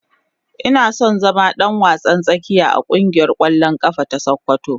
Ina son zama dan wasan tsakiya a kungiyar kwallon kafa ta sokoto.